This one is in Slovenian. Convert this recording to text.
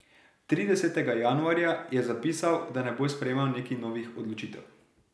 Tridesetega januarja je zapisal, da ne bo sprejemal nekih novih odločitev.